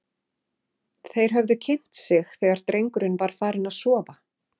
Þeir höfðu kynnt sig þegar drengurinn var farinn að sofa.